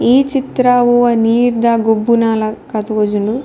ಈ ಚಿತ್ರ ಒವಾ ನೀರ್ದ ಗೊಬ್ಬುನ ಲಕ ತೋಜುಂಡು.